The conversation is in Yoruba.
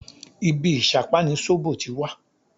Ibí ìṣápá ni sóbò ti wá